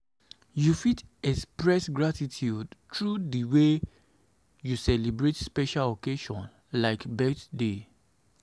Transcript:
you fit express gratitude through di way you celebrate special occasion like birthday.